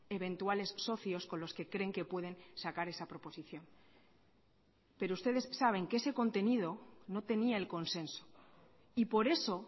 eventuales socios con los que creen que pueden sacar esa proposición pero ustedes saben que ese contenido no tenía el consenso y por eso